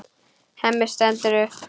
Hemmi stendur upp.